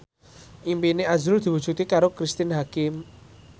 impine azrul diwujudke karo Cristine Hakim